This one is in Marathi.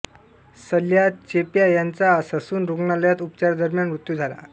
सल्या चेप्या याचा ससून रुग्णालयात उपचारादरम्यान मृत्यू झाला